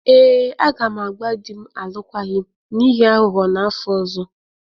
Ee, agam agba di m alụkwaghịm n'ihi aghụghọ n'afọ ọzọ.